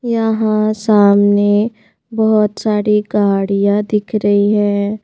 यहां सामने बहुत सारी गाड़ियां दिख रही हैं.